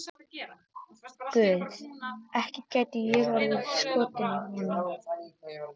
Guð, ekki gæti ég orðið skotin í honum.